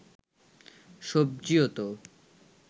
সবজিও তো